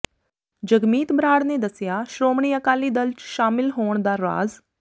ਜਗਮੀਤ ਬਰਾੜ ਨੇ ਦੱਸਿਆ ਸ਼੍ਰੋਮਣੀ ਅਕਾਲੀ ਦਲ ਚ ਸ਼ਾਮਿਲ ਹੋਣ ਦਾ ਰਾਜ਼